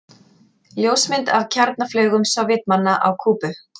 Ljósmynd af kjarnaflaugum Sovétmanna á Kúbu.